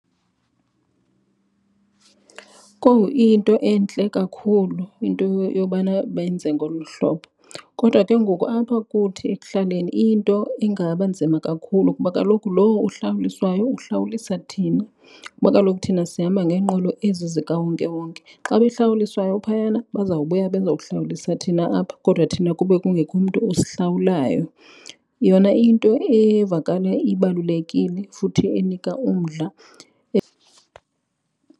Kowu, iyinto entle kakhulu into yobana benze ngolu hlobo kodwa ke ngoku apha kuthi ekuhlaleni iyinto engaba nzima kakhulu kuba kaloku lowo uhlawuliswayo uhlawulisa thina kuba kaloku thina sihamba ngeenqwelo ezi zikawonkewonke. Xa behlawuliswayo phayana bazawubuya beza kuhlawulisa thina apha kodwa thina kube kungekho mntu osihlawulayo. Yona iyinto evakala ibalulekile futhi enika umdla .